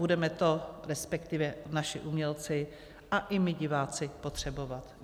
Budeme to, respektive naši umělci a i my diváci, potřebovat.